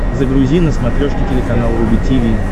загрузи на смотрешке телеканал рубль ти ви